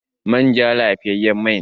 Manja lafiyayyen mai ne.